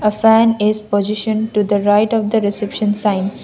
a fan is positioned to the right of the reception sign.